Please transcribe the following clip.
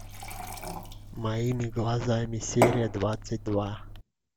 моими глазами серия двадцать два